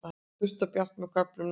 Þurrt og bjart með köflum norðantil